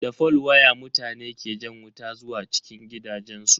Da fol waya mutane ke jan wuta zuwa cikin gidajensu.